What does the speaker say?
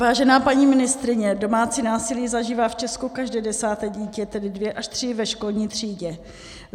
Vážená paní ministryně, domácí násilí zažívá v Česku každé desáté dítě, tedy dvě až tři ve školní třídě.